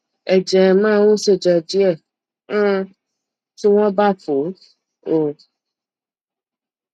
ẹjẹ má ń ṣẹjẹ díẹ um tí wọn bá fọ ọ